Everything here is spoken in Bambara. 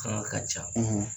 Kɔɲɔn ka caw;